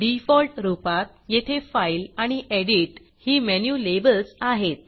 default रूपात येथे file आणि Editएडिट ही मेनू लेबल्स आहेत